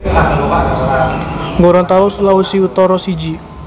Gorontalo Sulawesi Utara siji